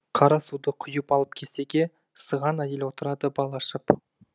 қара суды құйып алып кесеге сыған әйел отырады бал ашып